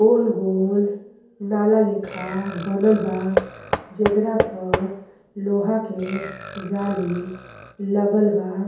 गोल-गोल नाला लेखा बनल बा जेकरा पर लोहा के जाली लगल बा।